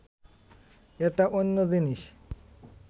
এটা অন্য জিনিস